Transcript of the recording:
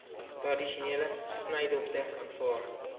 tradisionele snydokter aanvaar